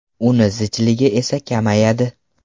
Uni zichligi esa kamayadi.